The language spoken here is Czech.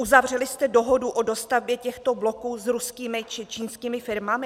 Uzavřeli jste dohodu o dostavbě těchto bloků s ruskými či čínskými firmami?